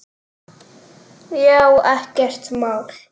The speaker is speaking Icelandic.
Já, ekkert mál.